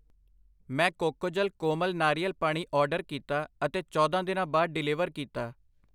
ਮੈਂ ਕੋਕੋਜਲ ਕੋਮਲ ਨਾਰੀਅਲ ਪਾਣੀ ਆਰਡਰ ਕੀਤਾ ਅਤੇ ਚੌਦਾਂ ਦਿਨਾਂ ਬਾਅਦ ਡਿਲੀਵਰ ਕੀਤਾ।